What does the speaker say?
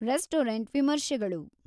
restaurant ವಿಮರ್ಶೆಗಳು